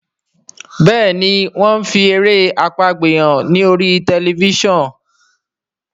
Béèni wón fí èrè àpagbè hàn ní orí Tẹlifísàn.